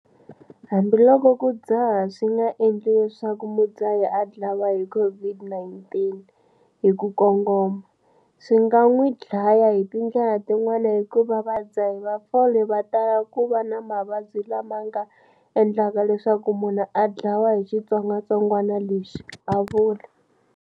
Hambiloko ku dzaha swi nga endli leswaku mudzahi a dlawa hi COVID-19 hi ku kongoma, swi nga n'wi dlaya hi tindlela tin'wana hikuva vadzahi va fole va tala ku va na mavabyi lama nga endlaka leswaku munhu a dlawa hi xitsongwantsongwana lexi, a vula.